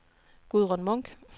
Gudrun Munch